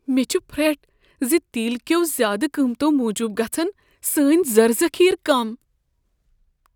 مےٚ چھُ پھرٛٹھ ز تیل کٮ۪و زیادٕ قۭمتو موجب گژھن سانۍ زرٕ ذخیرٕ کم۔